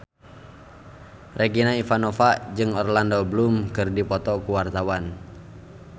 Regina Ivanova jeung Orlando Bloom keur dipoto ku wartawan